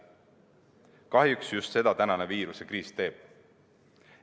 Kahjuks just seda tänane viirusekriis teeb.